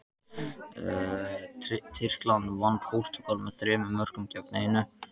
Tyrkland vann Portúgal með þremur mörkum gegn einu.